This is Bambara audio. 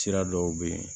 Sira dɔw bɛ yen